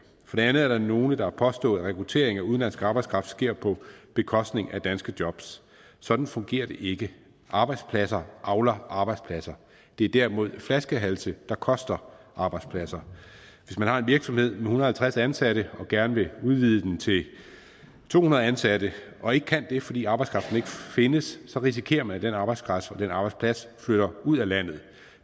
for det andet er der nogle der har påstået at rekrutteringen af udenlandsk arbejdskraft sker på bekostning af danske jobs sådan fungerer det ikke arbejdspladser avler arbejdspladser det er derimod flaskehalse der koster arbejdspladser hvis man har en virksomhed med en hundrede og halvtreds ansatte og gerne vil udvide den til to hundrede ansatte og ikke kan det fordi arbejdskraften ikke findes risikerer man at den arbejdskraft og den arbejdsplads flytter ud af landet